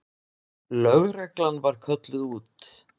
Lögreglan var kölluð út.